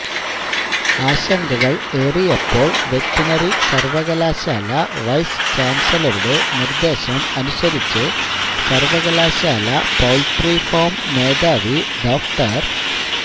ആശങ്കകൾ ഏറിയപ്പോൾ വെറ്ററിനറി സർവകലാശാല വൈസ് ചാൻസലറുടെ നിർദേശം അനുസരിച്ച് സർവകലാശാല പൌൾട്രി ഫാം മേധാവി ഡോ